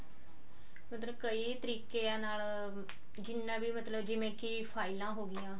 ਮਤਲਬ ਕਈ ਤਰੀਕਿਆਂ ਨਾਲ ਜਿੰਨਾ ਵੀ ਮਤਲਬ ਜਿਵੇਂ ਕੀ ਫਾਇਲਾਂ ਹੋਗੀਆ